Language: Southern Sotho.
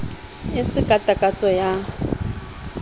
e se ka takatso ya